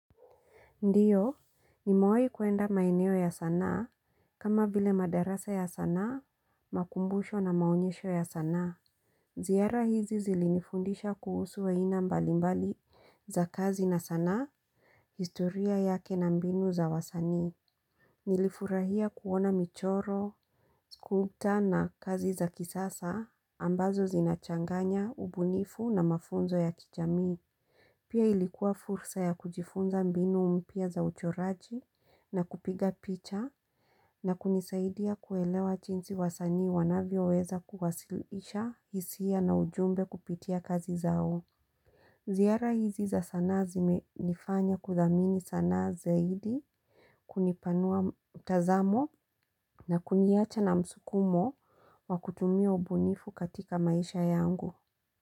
Ndiyo, nimewai kuenda maeneo ya sanaa, kama vile madarasa ya sanaa, makumbusho na maonyesho ya sana. Zihara hizi zilinifundisha kuhusu aina mbalimbali za kazi na sanaa, historia yake na mbinu za wasanii. Nilifurahia kuona michoro, skuta na kazi za kisasa, ambazo zinachanganya, ubunifu na mafunzo ya kijami. Pia ilikuwa fursa ya kujifunza mbinu mpya za uchoraji na kupiga picha na kunisaidia kuelewa jinsi wasanii wanavyo weza kuwasilisha hisia na ujumbe kupitia kazi zao. Zihara hizi za sanaa zimenifanya kudhamini sanaa zaidi kunipanua utazamo na kuniacha na msukumo wa kutumia ubunifu katika maisha yangu.